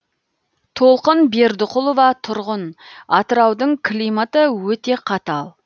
толқын бердіқұлова тұрғын атыраудың климаты өте қатал